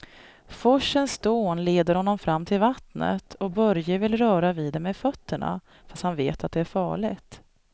Forsens dån leder honom fram till vattnet och Börje vill röra vid det med fötterna, fast han vet att det är farligt.